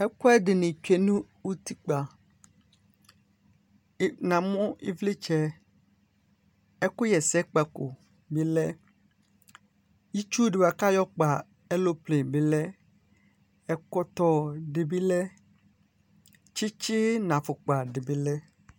Ɛkʋ ɛdɩnɩ tsʋe nʋ utikpǝ Namu ivlitsɛ, ɛkʋɣɛsɛkpako bɩ lɛ, itsu di bʋakʋ ayɔkpa ɛloplenɩ bɩ lɛ, ɛkɔtɔ di bɩ lɛ, tsɩtsɩ nʋ afukpa di bɩ lɛ